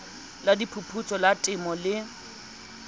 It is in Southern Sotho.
la diphuputso la temo le